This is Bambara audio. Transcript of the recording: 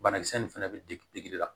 Banakisɛ ninnu fɛnɛ bɛ degi la